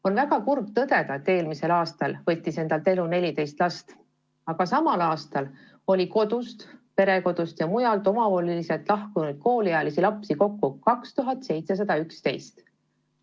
On väga kurb tõdeda, et eelmisel aastal võttis endalt elu 14 last, aga samal aastal oli kodust, perekodust ja mujalt omavoliliselt lahkunud kooliealisi lapsi kokku 2711.